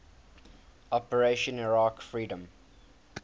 operation iraqi freedom